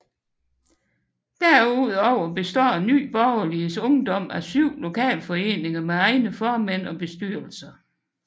Derudover består Nye Borgerliges Ungdom af syv lokalforeninger med egne formænd og bestyrelser